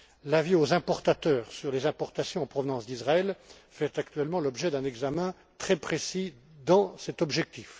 L'avis aux importateurs sur les importations en provenance d'Israël fait actuellement l'objet d'un examen très précis dans cet objectif.